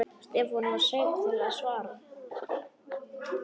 Stefán var seinn til svars.